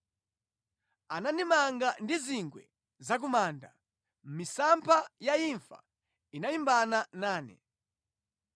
Anandimanga ndi zingwe za ku manda; misampha ya imfa inalimbana nane.